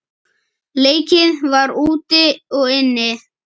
Leikið var úti og inni.